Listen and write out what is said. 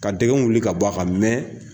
Ka dɛgɛn wuli ka b'a kan,